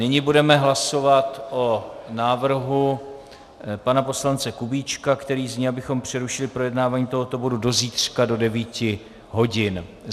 Nyní budeme hlasovat o návrhu pana poslance Kubíčka, který zní, abychom přerušili projednávání tohoto bodu do zítřka do 9 hodin.